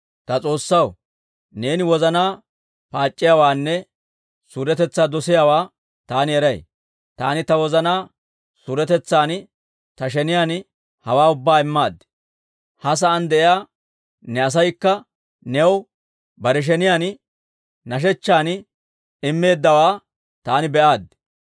«Ta S'oossaw, neeni wozanaa paac'c'iyaawaanne suuretetsaa dosiyaawaa taani eray. Taani ta wozanaa suuretetsan ta sheniyaan hawaa ubbaa immaad. Ha sa'aan de'iyaa ne asaykka new bare sheniyaan nashechchan immeeddawe taani be'aaddi.